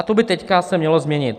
A to by teď se mělo změnit.